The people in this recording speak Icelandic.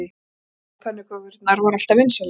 Rjómapönnukökurnar voru alltaf vinsælar.